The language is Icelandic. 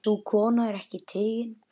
Sú kona er ekki tigin.